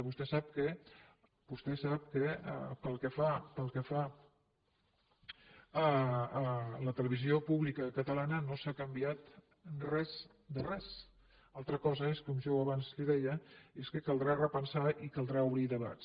vostè sap que pel que fa a la televisió pública catalana no s’ha canviat res de res una altra cosa és com jo abans li deia que caldrà repensar i caldrà obrir debats